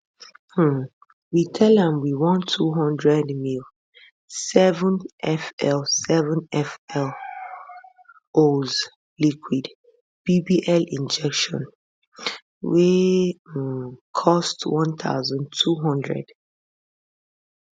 um we tell am we want 200ml 7fl 7fl oz liquid bbl injection wey um cost 1200